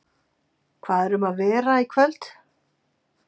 Hvað er um að vera í kvöld?